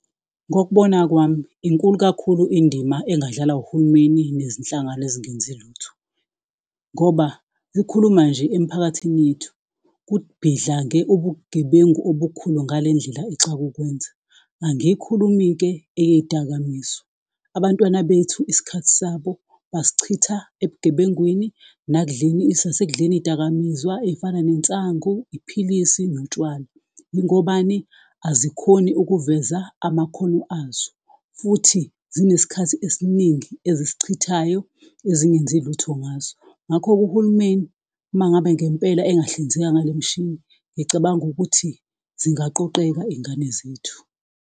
Ngokubona kwami, inkulu kakhulu indima engadlalwa uhulumeni nezinhlangano ezingenzi lutho, ngoba sikhuluma nje emiphakathini yethu, kubhidlange ubugebengu obukhulu ngale ndlela exake ukwenza. Angiyikhulumi-ke eyezidakamizwa, abantwana bethu isikhathi sabo basichitha ebugebengwini, nakudleni, nasekudleni izidakamizwa ezifana nensangu, iphilisi, notshwala. Yingobani? azikhoni ukuveza amakhono azo, futhi zinesikhathi esiningi ezisichithayo ezingenzi lutho ngaso. Ngakho-ke uhulumeni uma ngabe ngempela engahlinzeka ngale mshini, ngicabanga ukuthi zingaqoqeka izingane zethu.